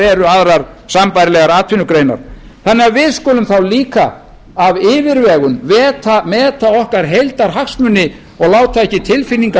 eru aðrar sambærilegar atvinnugreinar þannig að við skulum þá líka af yfirvegun meta okkar heildarhagsmuni og láta ekki tilfinningar